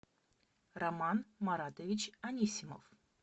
роман маратович анисимов